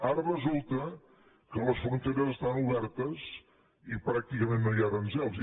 ara resulta que les fronteres estan obertes i pràcticament no hi ha aranzels